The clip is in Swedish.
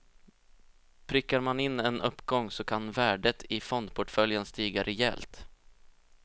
Prickar man in en uppgång så kan värdet i fondportföljen stiga rejält.